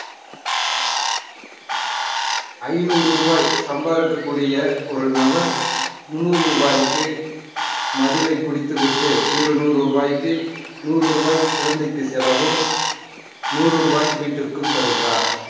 ஐநூறு ரூபாய் சம்பாதிக்கக்கூடிய ஒரு நபர் முந்நூறு ரூபாய்க்கு மதுவை குடித்து விட்டு இருநூறு ரூபாய்க்கு நூறு ரூபாய் குழந்தைக்கு செலவும் நூறு ரூபாய் வீட்டிற்கும் தருகிறார்